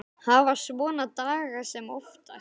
Hafa svona daga sem oftast.